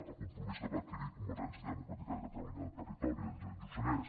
el compromís que va adquirir convergència democràtica de catalunya al territori al lluçanès